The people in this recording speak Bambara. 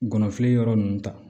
Gɔnɔfili yɔrɔ nunnu ta